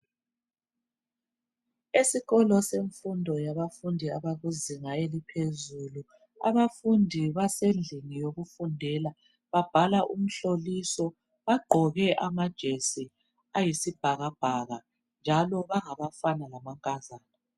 Esikolo semfundo yabafundi abakuzinga eliphezulu abafundi basendlini yokufundela Babhala umhloliso bagqoke amajesi ayisibhakabhaka .Njalo bangabafana lamankazana .